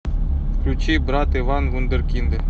включи брат иван вундеркинды